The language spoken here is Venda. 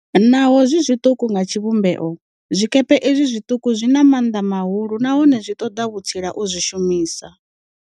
Naho zwi zwiṱuku nga tshivhumbeo, zwikepe izwi zwiṱuku zwi na maanḓa mahulu nahone zwi ṱoḓa vhutsila u zwi shumisa.